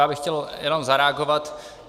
Já bych chtěl jen zareagovat.